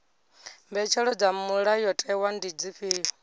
mbetshelo dza mulayotewa ndi dzifhio